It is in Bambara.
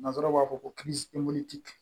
Nanzaraw b'a fɔ ko